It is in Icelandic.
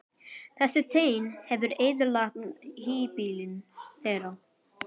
Þessi teinn hefur eyðilagt híbýlin þeirra.